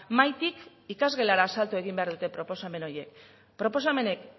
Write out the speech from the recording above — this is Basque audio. mahaitik ikasgelara salto egin behar dute proposamen horiek proposamenek